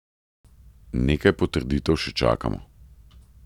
Nekaj potrditev še čakamo.